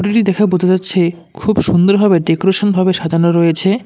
দেখে বোঝা যাচ্ছে খুব সুন্দরভাবে ডেকরেশন -ভাবে সাজানো রয়েছে।